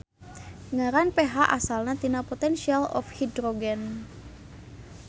Ngaran pH asalna tina potential of hydrogen.